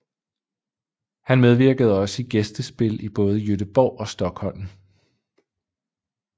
Han medvirkede også i gæstespil i både Göteborg og Stockholm